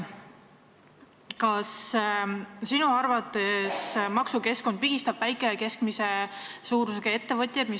Kas teie arvates maksukeskkond pigistab väikese ja keskmise suurusega ettevõtteid?